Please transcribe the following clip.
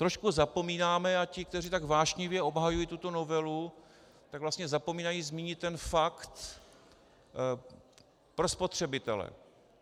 Trošku zapomínáme, a ti, kteří tak vášnivě obhajují tuto novelu, tak vlastně zapomínají zmínit ten fakt pro spotřebitele.